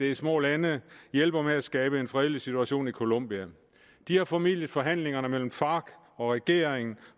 er små lande hjælper med at skabe en fredelig situation i colombia de har formidlet forhandlingerne mellem farc og regeringen